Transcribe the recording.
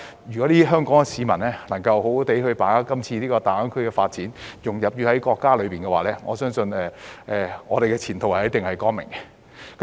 如果香港市民能夠好好把握今次大灣區的發展，融入國家，我相信我們的前途一定是光明的。